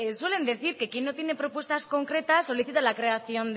suelen decir que quien no tiene respuestas concretas solicita la creación